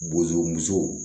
Bozomuso